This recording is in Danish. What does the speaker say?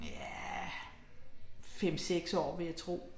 Ja. 5 6 år vil jeg tro